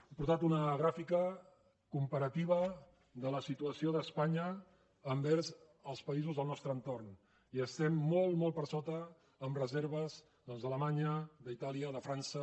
he portat una gràfica comparativa de la situació d’espanya envers els països del nostre entorn i estem molt molt per sota en reserves doncs d’alemanya d’itàlia de frança